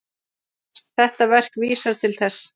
Þetta verk vísar til þess.